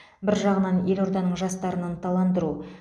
бір жағынан елорданың жастарын ынталандыру